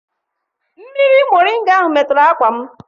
Mmiri moringa ahụ meturu akwa m.